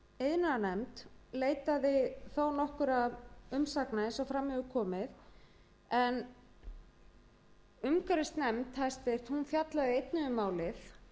iðnaðarnefnd leitaði þó nokkurra umsagna eins og fram hefur komið en háttvirtur umhverfisnefnd fjallaði einnig um málið